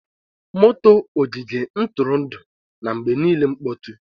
Motor ogige ntụrụndụ na-mgbe niile mkpọtụ